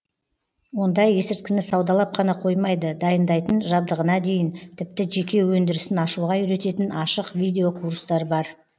онда есірткіні саудалап қана қоймайды дайындайтын жабдығына дейін тіпті жеке өндірісін ашуға үйрететін ашық видео курстар бар